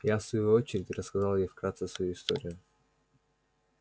я в свою очередь рассказал ей вкратце свою историю